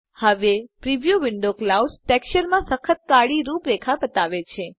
હવે preview window cloud textureમાં સખત કાળી રૂપરેખા બતાવે છે